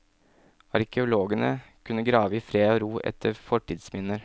Arkeologene kunne grave i fred og ro etter fortidsminner.